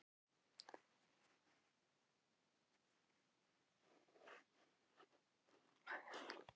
Hvað hann vilji gera í sínum málum?